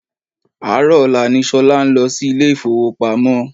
Àárọ̀ ọ̀la ni Ṣolá ń lọ sí ilé ifowopamo.